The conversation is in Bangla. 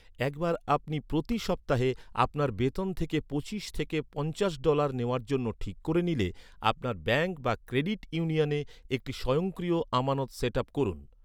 একবার আপনি প্রতি সপ্তাহে আপনার বেতন থেকে পঁচিশ থেকে পঞ্চাশ ডলার নেওয়ার জন্য ঠিক করে নিলে, আপনার ব্যাঙ্ক বা ক্রেডিট ইউনিয়নে একটি স্বয়ংক্রিয় আমানত সেট আপ করুন।